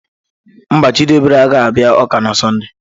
Mba, Chidiebere agaghị abịa ụka na sonde.